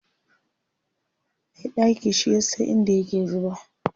Mai ɗaki shi yasa in da yake zuba